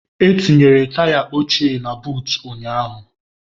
E tinyere taya ochie na buut ụnyaahụ.